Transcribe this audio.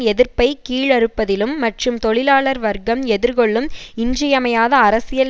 எதிர்ப்பை கீழறுப்பதிலும் மற்றும் தொழிலாளர் வர்க்கம் எதிர்கொள்ளும் இன்றியமையாத அரசியல்